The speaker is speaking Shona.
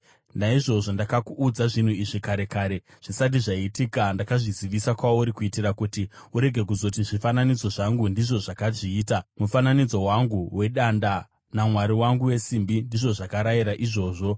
Naizvozvo ndakakuudza zvinhu izvi kare kare; zvisati zvaitika ndakazvizivisa kwauri, kuitira kuti urege kuzoti, ‘Zvifananidzo zvangu, ndizvo zvakazviita; mufananidzo wangu wedanda namwari wangu wesimbi ndizvo zvakarayira izvozvo.’